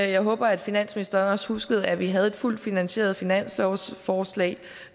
jeg håber at finansministeren også huskede at vi havde et fuldt finansieret finanslovsforslag